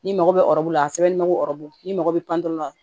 N'i mago bɛ la a sɛbɛnnen do n'i mago bɛ pan pewu